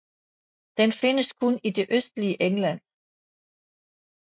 Den findes kun i det østligste England